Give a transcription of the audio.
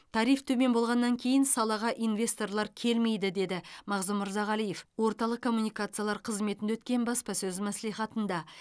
тариф төмен болғаннан кейін салаға инвесторлар келмейді деді мағзұм мырзағалиев орталық коммуникациялар қызметінде өткен баспасөз мәслихатында